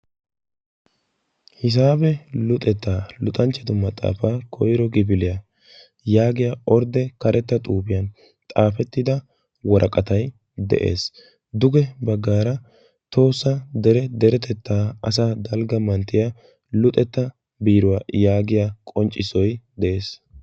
"Hisaabe luxettaa luxanchchatu maxaafa koyiro kifiliya" yaagiyaa ordde karetta xuufiyan xaafetida woraqatay de'ees. Duge baggaara tohossa dere deretettaa asaa dalgga manttiyaa luxetta biiruwaa yaagiyaa qonccissoy de'ees.